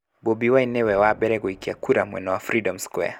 Bobi Wine nĩ we wa mbere gũikia kura mwena wa Freedom Square.